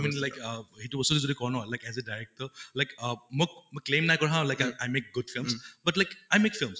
i mean like সেইটো বস্তুটো যদি কওঁ ন as a director like uh মক claim নাই কৰা নহয় i make good films but like i make films